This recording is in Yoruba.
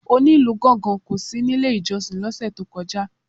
Onílù gángan kò sí nílé ìjọsìn lọ́sẹ̀ tó ìkọjá.